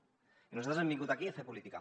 i nosaltres hem vingut aquí a fer política